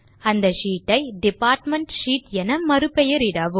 அந்த ஷீட் ஐ department sheet என மறுபெயரிடவும்